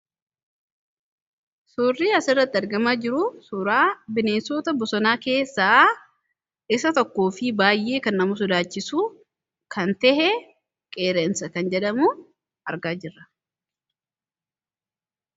suurrii as irrati argamaa jiru suuraa bineensota bosonaa keessaa isa tokkoo fi baayyee kan nama sodaachisu kan tahe qeerransa kan jedhamu argaa jirra